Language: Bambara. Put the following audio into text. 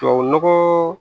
Tubabu nɔgɔ